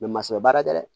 baara kɛ dɛ